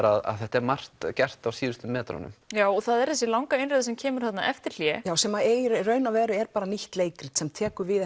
að þetta er margt gert á síðustu metrunum það er þessi langa innreið sem kemur þarna eftir hlé sem er í raun og veru bara nýtt leikrit sem tekur við